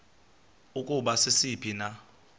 ukuba sisiphi na